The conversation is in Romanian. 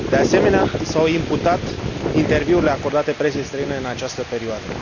De asemenea, i s au imputat interviurile acordate presei străine în această perioadă.